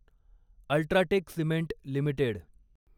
UltraTech cement limited